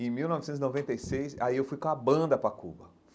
Em mil novecentos e noventa e seis, aí eu fui com a banda para Cuba.